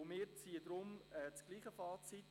Deshalb ziehen wir dasselbe Fazit: